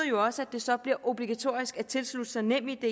jo også at det så bliver obligatorisk at tilslutte sig nemid